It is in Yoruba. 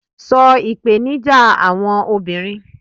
so ipenija àwọn obinrin